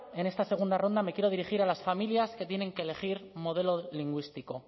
en esta segunda ronda me quiero dirigir a las familias que tienen que elegir modelo lingüístico